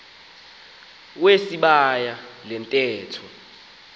wesibaya le ntetho